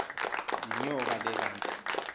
yinyoka le kanti